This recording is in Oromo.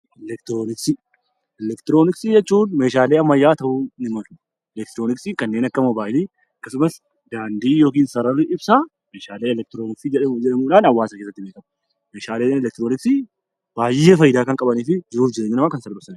Elektirooniksii Elektirooniksii jechuun meeshaalee ammayyaa ta'uu ni malu. Elektirooniksiin kanneen akka mobaayilii, akkasumas daandii (sararri) ibsaa meeshaalee elektirooniksii jedhamuudhaan hawaasa keessatti beekamu. Meeshaaleen elektirooniksii baay'ee faayidaa kan qabanii fi jiruu fi jireenya namaa kan salphisanii dha.